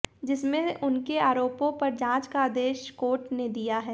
जिसमें उनके आरोपों पर जांच का आदेश कार्ट ने दिया है